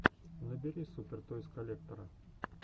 набери супер тойс коллектора